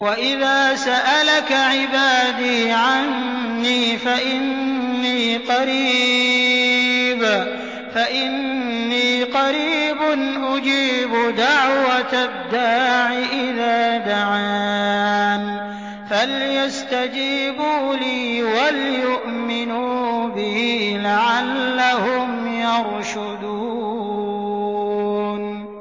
وَإِذَا سَأَلَكَ عِبَادِي عَنِّي فَإِنِّي قَرِيبٌ ۖ أُجِيبُ دَعْوَةَ الدَّاعِ إِذَا دَعَانِ ۖ فَلْيَسْتَجِيبُوا لِي وَلْيُؤْمِنُوا بِي لَعَلَّهُمْ يَرْشُدُونَ